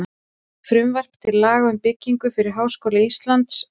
Frumvarp til laga um byggingu fyrir Háskóla Íslands, frá